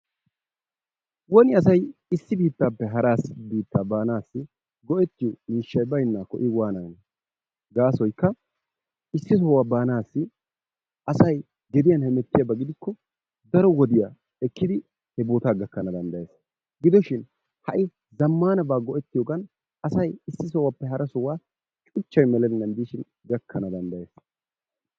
Woni asay issi bittaappe hara biittaa banaassi go"ettiyoo miishshay baynnaakko i wananee? Gasoykka issi sohuwaa baanaassi asay tohuwaan hemettiyaaba gidikko daro wodiyaa ekkidi he bootaa gakkanawu dandayees. Gidoshin ha'i zammaanabaa go"etiyoogan asay issi sohuwaappe hara sohuwaa baanawu cuuchchay meelenan diishin gakkanawu danddayees.